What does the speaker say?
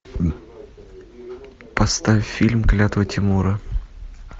поставь фильм клятва тимура